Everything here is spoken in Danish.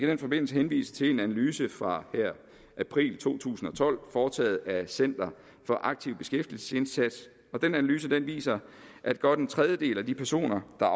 den forbindelse henvise til en analyse fra april to tusind og tolv foretaget af center for aktiv beskæftigelsesindsats den analyse viser at godt en tredjedel af de personer der